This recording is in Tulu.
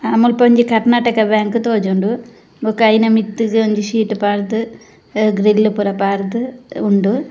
ಅಹ್ ಮುಲ್ಪ ಒಂಜಿ ಕರ್ಣಾಟಕ ಬ್ಯಾಂಕ್ ಅಹ್ ತೋಜುಂಡು ಬೊಕ್ಕ ಐನ ಮಿತ್ತುಗು ಒಂಜಿ ಶೀಟ್ ಪಾಡ್ದ್ ಗ್ರಿಲ್ಲ್ ಪೂರ ಪಾಡ್ದ್ ಉಂಡು.